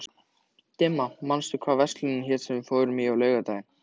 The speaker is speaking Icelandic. Dimma, manstu hvað verslunin hét sem við fórum í á laugardaginn?